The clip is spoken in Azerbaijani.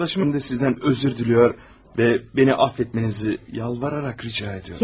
Yoldaşım da sizdən üzr diləyir və məni affetmənizi yalvararaq rica edirəm.